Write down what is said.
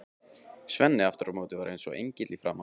Svenni aftur á móti var eins og engill í framan.